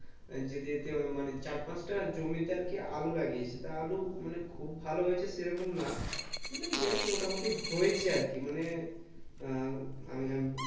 যেতে যেতে ওই মানে চার পাঁচ তা জমিতে আলু লাগিয়েছে তা আলু মানে খুব ভালো হয়েছে সে রকম না মানে বেশ মোটামুটি হয়েছে আরকি মানে উম